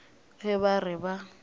ge ba re ba a